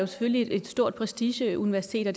selvfølgelig er et stort prestigeuniversitet og